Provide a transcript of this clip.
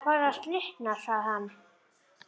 Það er farið að slitna sagði hann.